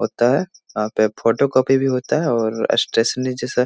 होता है वहाँ पे फोटो कॉपी भी होता है और अस्टेस्नि जैसा